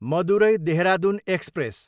Madurai, Dehradun express